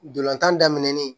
Dolan daminɛnin